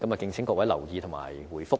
敬請各位留意和回覆。